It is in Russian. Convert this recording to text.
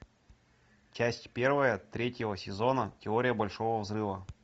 часть первая третьего сезона теория большого взрыва